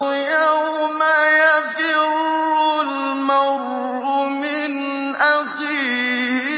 يَوْمَ يَفِرُّ الْمَرْءُ مِنْ أَخِيهِ